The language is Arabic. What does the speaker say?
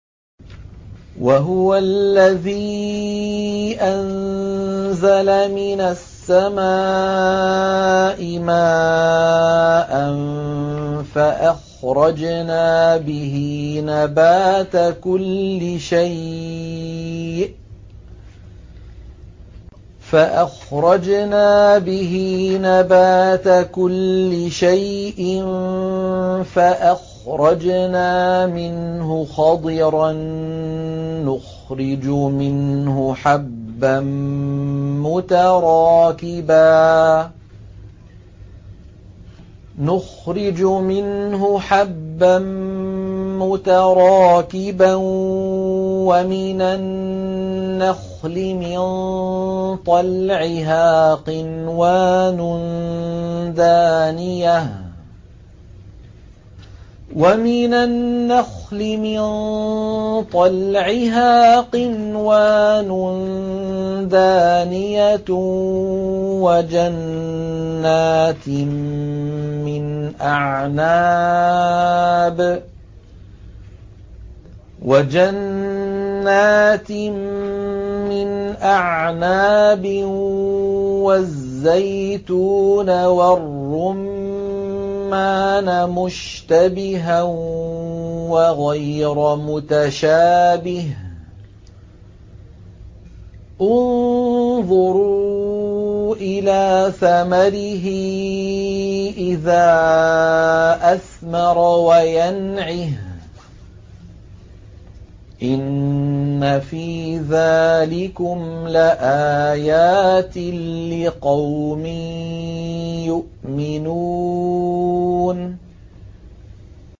وَهُوَ الَّذِي أَنزَلَ مِنَ السَّمَاءِ مَاءً فَأَخْرَجْنَا بِهِ نَبَاتَ كُلِّ شَيْءٍ فَأَخْرَجْنَا مِنْهُ خَضِرًا نُّخْرِجُ مِنْهُ حَبًّا مُّتَرَاكِبًا وَمِنَ النَّخْلِ مِن طَلْعِهَا قِنْوَانٌ دَانِيَةٌ وَجَنَّاتٍ مِّنْ أَعْنَابٍ وَالزَّيْتُونَ وَالرُّمَّانَ مُشْتَبِهًا وَغَيْرَ مُتَشَابِهٍ ۗ انظُرُوا إِلَىٰ ثَمَرِهِ إِذَا أَثْمَرَ وَيَنْعِهِ ۚ إِنَّ فِي ذَٰلِكُمْ لَآيَاتٍ لِّقَوْمٍ يُؤْمِنُونَ